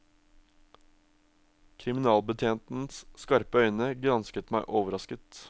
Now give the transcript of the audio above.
Kriminalbetjentens skarpe øyne gransket meg overrasket.